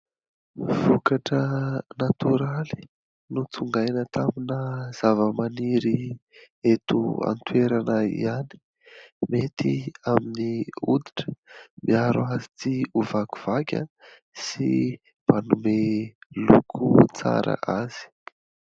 Vokatra natoraly notsongaina tamina zavamaniry eto an-toerana ihany, mety amin'ny hoditra : miaro azy tsy ho vakivaky sy manome loko tsara azy.